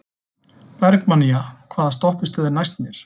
Bergmannía, hvaða stoppistöð er næst mér?